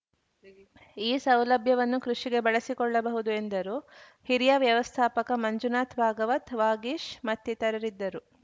ಈ ಸೌಲಭ್ಯವನ್ನು ಕೃಷಿಗೆ ಬಳಸಿಕೊಳ್ಳಬಹುದು ಎಂದರು ಹಿರಿಯ ವ್ಯವಸ್ಥಾಪಕ ಮಂಜುನಾಥ್‌ ಭಾಗವತ್‌ ವಾಗೀಶ್‌ ಮತ್ತಿತರರಿದ್ದರು